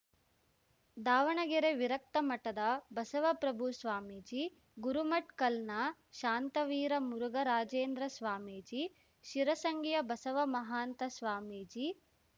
ದಾವಣಗೆರೆ ವಿರಕ್ತಮಠದ ಬಸವಪ್ರಭು ಸ್ವಾಮೀಜಿ ಗುರುಮಠ್ ಕಲ್‌ನ ಶಾಂತವೀರ ಮುರುಘರಾಜೇಂದ್ರ ಸ್ವಾಮೀಜಿ ಶಿರಸಂಗಿಯ ಬಸವ ಮಹಾಂತ ಸ್ವಾಮೀಜಿ